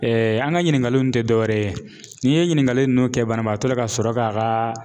an ka ɲininkaliw tɛ dɔwɛrɛ ye, n'i ye ɲininkali nunnu kɛ banabaatɔ la ka sɔrɔ ka ka